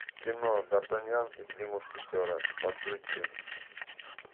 кино дартаньян и три мушкетера подключи